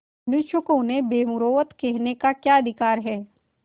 मनुष्यों को उन्हें बेमुरौवत कहने का क्या अधिकार है